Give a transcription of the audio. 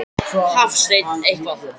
Hafsteinn: Eitthvað?